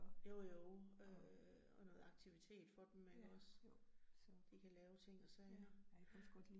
Jo jo øh og noget aktivitet for dem ikke også,. Så de kan lave ting og sager ja